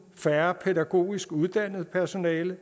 færre pædagogisk uddannede personaler og